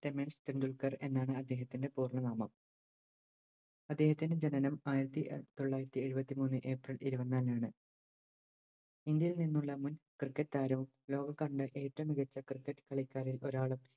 രമേശ് ടെൻഡുൽക്കർ എന്നാണ് അദ്ദേഹത്തിൻറെ പൂർണ്ണ നാമം അദ്ദേഹത്തിൻറെ ജനനം ആയിരത്തി എ തൊള്ളായിരത്തി എഴുപത്തിമൂന്ന് April ഇരുവന്നാലാണ് ഇന്ത്യയിൽ നിന്നുള്ള മുൻ Cricket താരം ലോക കണ്ട ഏറ്റോം മികച്ച Cricket കളിക്കാരിൽ ഒരാളും